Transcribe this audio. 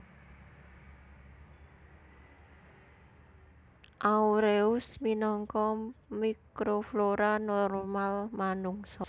aureus minangka mikroflora normal manungsa